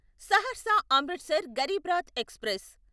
Saharsa Amritsar Garib Rath express